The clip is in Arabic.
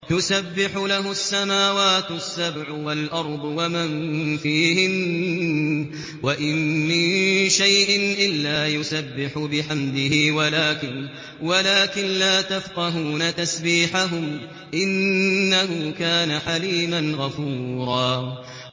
تُسَبِّحُ لَهُ السَّمَاوَاتُ السَّبْعُ وَالْأَرْضُ وَمَن فِيهِنَّ ۚ وَإِن مِّن شَيْءٍ إِلَّا يُسَبِّحُ بِحَمْدِهِ وَلَٰكِن لَّا تَفْقَهُونَ تَسْبِيحَهُمْ ۗ إِنَّهُ كَانَ حَلِيمًا غَفُورًا